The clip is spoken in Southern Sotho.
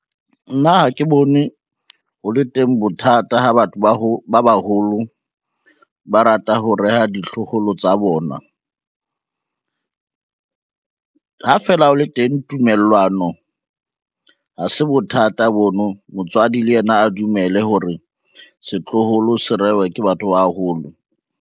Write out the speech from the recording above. Nna ha ke bone ho le teng bothata ha batho ba baholo ba rata ho reha ditloholo tsa bona, ha fela o le teng tumellwano ha se bothata bono. Motswadi le yena a dumele hore setloholo se rehwe ke batho ba holo.